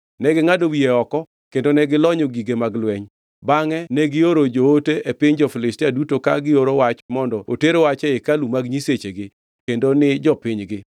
Negingʼado wiye oko kendo ne gilonyo gige mag lweny, bangʼe negioro joote e piny jo-Filistia duto ka gioro wach mondo oter wach e hekalu mag nyisechegi kendo ni jopinygi.